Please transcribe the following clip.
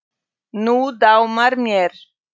Nú dámar mér!